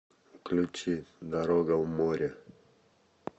включи дорога в море